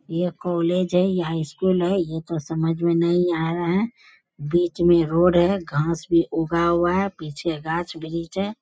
ये कॉलेज है यहाँ स्‍कूल है ये तो समझ में नही आ रहा है बीच में रोड है घास भी उगा हुआ है पीछे गाछ-वृक्ष है।